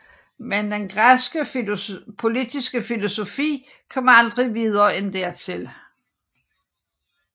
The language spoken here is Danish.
Men den græske politiske filosofi kom aldrig videre end dertil